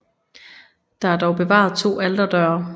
Der er dog bevaret to alterdøre